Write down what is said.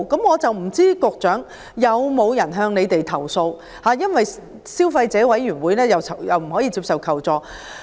我不知道曾否有人向局長投訴，因為消委會不能接受這類求助個案。